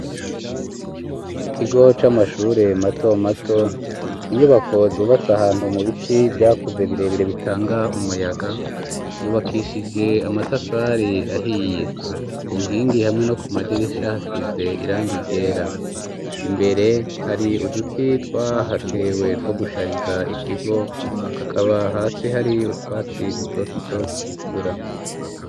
Mu kigo c'amashure mato mato ,mu nyubako zubatse ahantu mu biti ,vyakuze birebire bitanga umuyaga ,rubakishije amatafari ahiye, ku nkingi hamwe no ku madirisha hasize irang ryera ,imbere hari uduti twahatewe ko gushariza ikigo ,hakaba hasi hari utwatsi dutoto tugikura.